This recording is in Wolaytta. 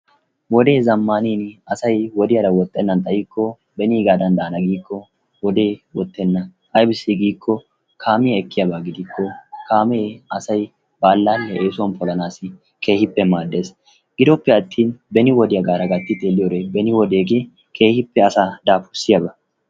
Wodee zamanin asay wodiyara woxenaani xayikko benigaddan daana giikko wodee wottena aybissi giikko kaamiyaa ekiyaabba gidikko kaame ba alaliya asa eesuwan polanassi keehippe maades, gidoppe attin beni wodiyaagara gatti xeeliyo wode beni wodege keehippe asaa daafursiyaaba.